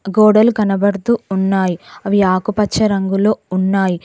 గోడలు కనబడుతూ ఉన్నాయి అవి ఆకుపచ్చ రంగులో ఉన్నాయి.